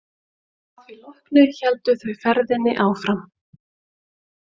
Að því loknu héldu þau ferðinni áfram.